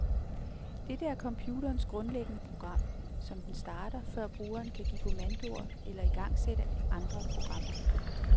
Dette er computerens grundlæggende program, som den starter, før brugeren kan give kommandoer eller igangsætte andre programmer.